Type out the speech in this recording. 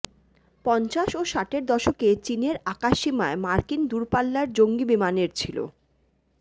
পঞ্চাশ ও ষাটের দশকে চীনের আকাশসীমায় মার্কিন দূরপাল্লার জঙ্গি বিমানের ছিল